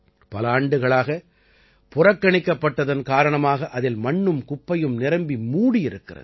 பல ஆண்டுகளாகப் புறக்கணிக்கப்பட்டதன் காரணமாக அதில் மண்ணும் குப்பையும் நிரம்பி மூடியிருக்கிறது